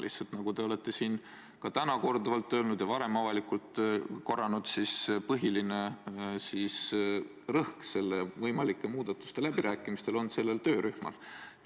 Lihtsalt, nagu te olete siin ka täna korduvalt öelnud ja varem avalikult korranud, põhiline rõhk võimalike muudatuste läbirääkimistel on sellel töörühmal.